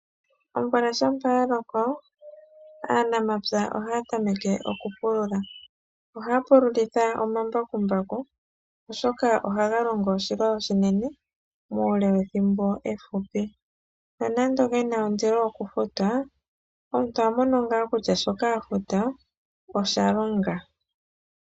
Omvula shampa ya loko, aanamapya ohaya tameke oku pululitha. Ohaya pululitha omambakumbaku, oshoka ohaga longo oshilwa oshinene muule wethimbo efupi. Nonando gena ondilo oku futwa, omuntu oha mono ngaa kutya shoka afuta osha longa.